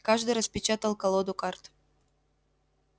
каждый распечатал колоду карт